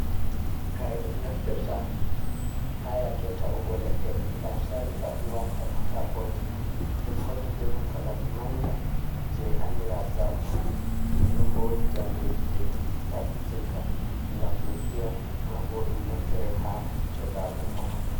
Kare ɗum ɗo nafitirta ha yake ta’ugo leɗɗe, gam sarrifa ɗum warta kakoji , ɗum hauti be nanta laɓi manga je andira zarto, nonon bo wodi jamdeji je ɗum tabbitinta gam ɗum fiya ma bo ɗum naftire ha jogago.